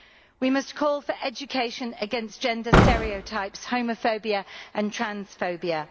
We must call for education against gender stereotypes, homophobia and transphobia.